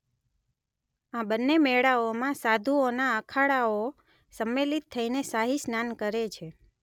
આ બન્ને મેળાઓમાં સાધુઓના અખાડાઓ સંમેલિત થઈને શાહી સ્નાન કરે છે.